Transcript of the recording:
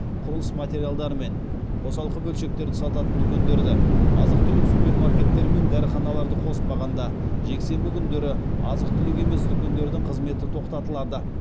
құрылыс материалдар мен қосалқы бөлшектерді сататын дүкендерді азық түлік супермаркеттер мен дәріханаларды қоспағанда жексенбі күндері азық түлік емес дүкендердің қызметі тоқтатылады